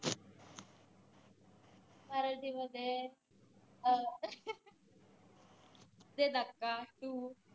मराठी मध्ये अं दे धक्का two